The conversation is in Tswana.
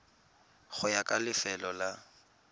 go ya ka lefelo la